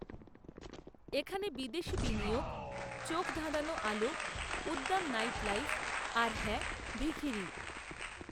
এখানে বিদেশি বিনিয়োগ, চোখধাঁধানো আলো, উদ্দাম নাইটলাইফ, আর হ্যাঁ, ভিখিরি